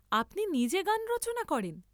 আপনি নিজে গান রচনা করেন?